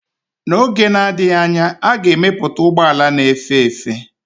N'oge na-adịghị anya, a ga-emepụta ụgbọ ala na-efe efe.